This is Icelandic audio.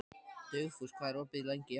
Dugfús, hvað er opið lengi í HÍ?